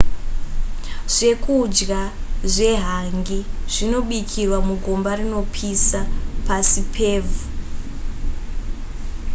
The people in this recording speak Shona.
zvekudya zvehangi zvinobikirwa mugomba rinopisa pasi pevhu